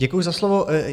Děkuji za slovo.